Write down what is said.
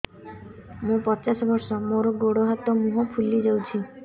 ମୁ ପଚାଶ ବର୍ଷ ମୋର ଗୋଡ ହାତ ମୁହଁ ଫୁଲି ଯାଉଛି